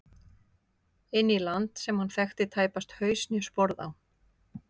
Inn í land sem hann þekkti tæpast haus né sporð á.